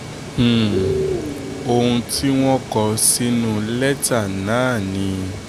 um ohun tí wọ́n kọ sínú lẹ́tà náà ni